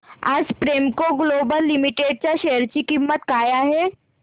आज Premco global limited च्या share ची किंमत काय आहे